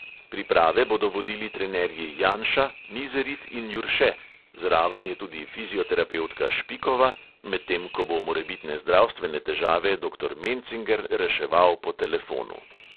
Priprave bodo vodili trenerji janša, mizerit in jurše, zraven je tudi fizioterapevtka špikova, medtem ko bo morebitne zdravstvene težave doktor mencinger reševal po telefonu.